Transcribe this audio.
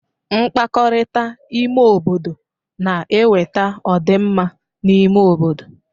Mkpakọrịta ime obodo na-eweta ọ dị mma n'ime obodo.